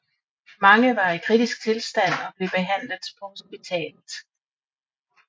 Mange var i kritisk tilstand og blev behandlet på hospitalet